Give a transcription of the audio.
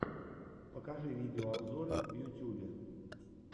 покажи видеообзоры в ютюбе